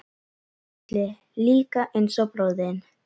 Gísli: Líka eins og bróðir þinn?